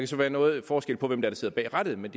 så være noget forskel af hvem der sidder bag rattet men